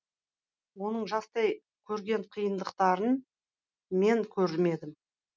оның жастай көрген қиыдықтарын мен көрмедім